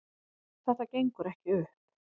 Þetta gengur ekki upp